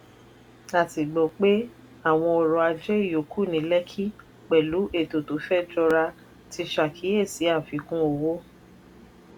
a sì gbọ́ pé àwọn ọrọ̀ ajé ìyókù ní lekki pẹ̀lú ètò tó fẹ́ jọra ti ṣàkíyèsí àfikún owó.